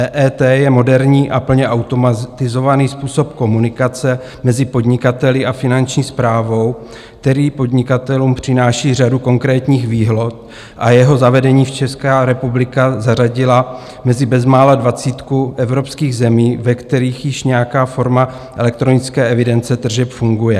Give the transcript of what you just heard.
EET je moderní a plně automatizovaný způsob komunikace mezi podnikateli a Finanční správou, který podnikatelům přináší řadu konkrétních výhod, a jeho zavedením se Česká republika zařadila mezi bezmála dvacítku evropských zemí, ve kterých již nějaká forma elektronické evidence tržeb funguje.